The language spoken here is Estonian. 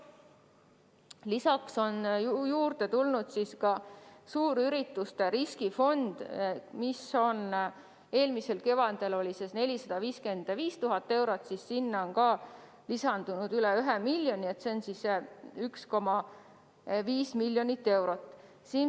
Kasvanud on ka suurürituste riskifond: eelmisel kevadel oli selle maht 455 000 eurot, nüüd on sinna lisandunud üle 1 miljoni, nii et kokku 1,5 miljonit eurot.